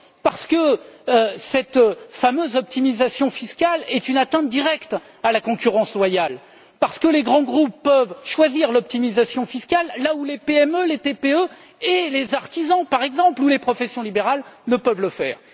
Parce que cette fameuse optimisation fiscale est une atteinte directe à la concurrence loyale, parce que les grands groupes peuvent choisir l'optimisation fiscale, là où les PME, les TPE et les artisans, par exemple, ou les professions libérales ne peuvent le faire.